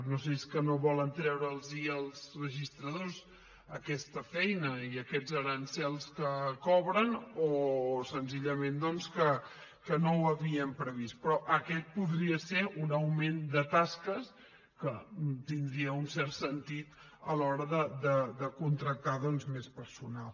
no sé si és que no volen treure’ls als registradors aquesta feina i aquests aranzels que cobren o senzillament que no ho havien previst però aquest podria ser un augment de tasques que tindria un cert sentit a l’hora de contractar més personal